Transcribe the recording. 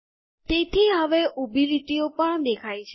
તેથી હવે ઊભી લીટીઓ પણ દેખાય છે